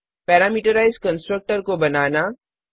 parameterised constructor को बनाना